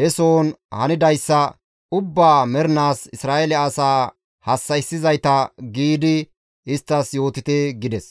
he sohon hanidayssa ubbaa mernaas Isra7eele asaa hassa7issizayta› giidi isttas yootite» gides.